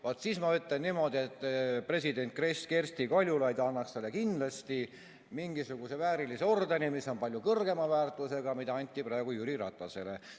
Vaat siis ma ütlen niimoodi, et president Kersti Kaljulaid annaks talle kindlasti mingisuguse väärilise ordeni, mis on palju kõrgema väärtusega kui see, mis anti praegu Jüri Ratasele.